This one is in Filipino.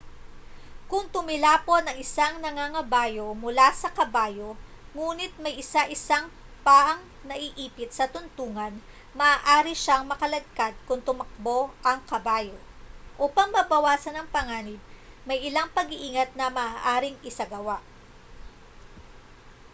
kung tumilapon ang isang nangangabayo mula sa kabayo ngunit may isa isang paang naipit sa tuntungan maaari siyang makaladkad kung tumakbo ang kabayo upang mabawasan ang panganib may ilang pang-iingat na maaaring isagawa